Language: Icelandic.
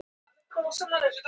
Stærri en Verkamannaflokkurinn